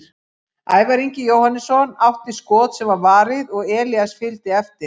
Ævar Ingi Jóhannesson átti skot sem var varið og Elías fylgdi eftir.